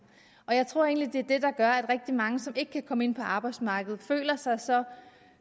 jeg tror egentlig det er det der gør at rigtig mange som ikke kan komme ind på arbejdsmarkedet føler sig så